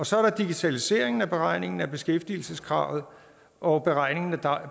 så er der digitaliseringen af beregningen af beskæftigelseskravet og beregningen af